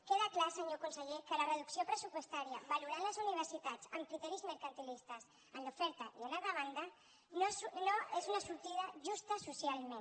queda clar senyor conseller que la reducció pressupostària valorant les universitats amb criteris mercantilistes en l’oferta i en la demanda no és una sortida justa socialment